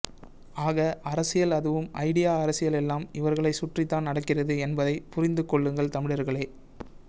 ஆக அரசியல் அதுவும் ஐடியா அரசியல் எல்லாம் இவர்களை சுற்றி தான் நடக்கிறது என்பதை புரிந்து கொள்ளுங்கள் தமிழர்களே